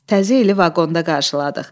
Təzə ili vaqonda qarşıladıq.